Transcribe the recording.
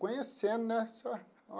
Conhecendo, né, só?